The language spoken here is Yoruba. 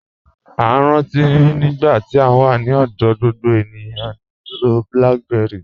A rántí nígbà tí à wà ní ọ̀dọ̀, gbogbo ènìyàn ń lọ̀ BlackBerry.